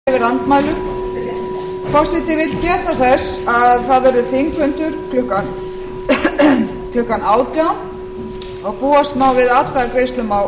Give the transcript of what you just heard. forseti vill geta þess að það verður þingfundur klukkan átján núll núll og búast má við atkvæðagreiðslum á